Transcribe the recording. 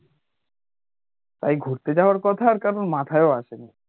তাই ঘুরতে যাওয়ার কথা কারোর মাথায় ও আসে নি